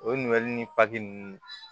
O ɲininkali ni ninnu